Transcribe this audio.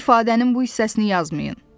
İfadənin bu hissəsini yazmayın.